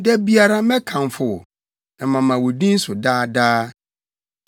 Da biara, mɛkamfo wo; na mama wo din so daa daa.